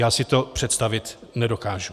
Já si to představit nedokážu.